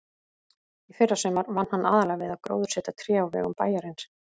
Í fyrrasumar vann hann aðallega við að gróðursetja tré á vegum bæjarins.